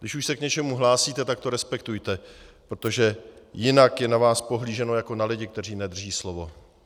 Když už se k něčemu hlásíte, tak to respektujte, protože jinak je na vás pohlíženo jako na lidi, kteří nedrží slovo.